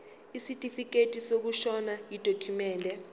isitifikedi sokushona yidokhumende